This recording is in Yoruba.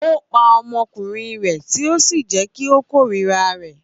Ó pa ọmọkùnrin rẹ̀ tì ó sì jẹ́ kí ó kórìíra rẹ̀.